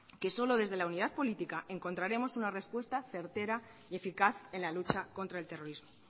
que solo desde la unida política encontraremos una respuesta certera y eficaz en la lucha contra el terrorismo